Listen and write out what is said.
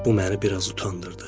Bu məni biraz utandırdı.